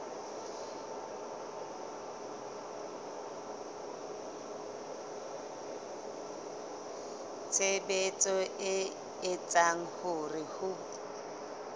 tshebetso e etsang hore ho